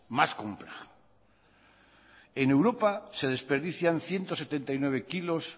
más compleja en europa se desperdician ciento setenta y nueve kilos